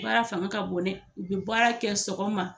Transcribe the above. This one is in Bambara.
baara fanga ka bon dɛ u bɛ baara kɛ sɔgɔma.